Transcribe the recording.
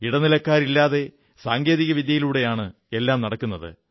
ഇടനിലക്കാരില്ലാതെ സാങ്കേതിക വിദ്യയിലൂടെയാണ് എല്ലാം നടക്കുന്നത്